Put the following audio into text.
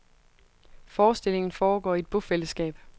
Forestillingen foregår i et bofællesskab.